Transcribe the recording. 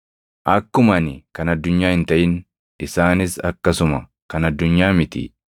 Akkuma ani kan addunyaa hin taʼin isaanis akkasuma kan addunyaa miti.